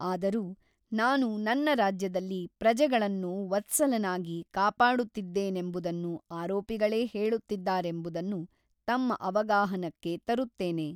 ಆದರೂ ನಾನು ನನ್ನ ರಾಜ್ಯದಲ್ಲಿ ಪ್ರಜೆಗಳನ್ನು ವತ್ಸಲನಾಗಿ ಕಾಪಾಡುತ್ತಿದ್ದೇನೆಂಬುದನ್ನು ಆರೋಪಿಗಳೇ ಹೇಳುತ್ತಿದ್ದಾರೆಂಬುದನ್ನು ತಮ್ಮ ಅವಗಾಹನಕ್ಕೆ ತರುತ್ತೇನೆ.